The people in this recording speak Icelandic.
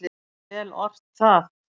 Vel ort það.